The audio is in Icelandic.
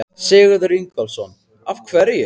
Sigurður Ingólfsson: Af hverju?